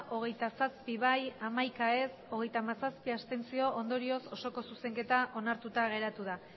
hogeita zazpi ez hamaika abstentzioak hogeita hamazazpi ondorioz osoko zuzenketa onartuta geratu da